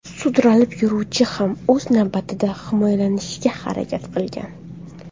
Sudralib yuruvchi ham o‘z navbatida himoyalanishga harakat qilgan.